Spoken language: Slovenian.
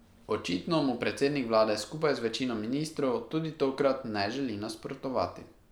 Očitno mu predsednik vlade skupaj z večino ministrov tudi tokrat ne želi nasprotovati.